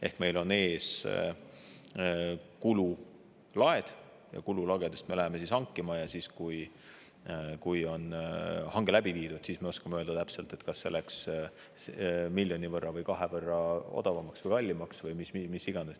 Ehk meil on ees kululaed ja kululagesid me läheme hankima ja siis, kui on hange läbi viidud, me oskame öelda täpselt, kas see läks miljoni võrra või kahe võrra odavamaks või kallimaks või mis iganes.